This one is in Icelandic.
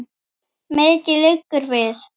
Mikið liggur við!